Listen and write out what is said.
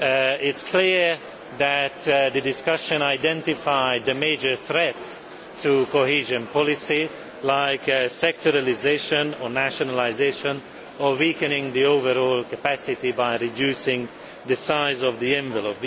It is clear that the discussion identified the major threats to cohesion policy, such as sectoralisation or nationalisation, or weakening the overall capacity by reducing the size of the envelope.